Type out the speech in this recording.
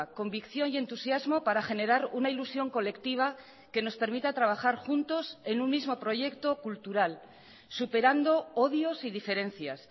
convicción y entusiasmo para generar una ilusión colectiva que nos permita trabajar juntos en un mismo proyecto cultural superando odios y diferencias